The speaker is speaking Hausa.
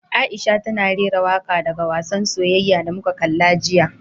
Aisha tana rera waka daga wassan soyayya da muka kalla jiya.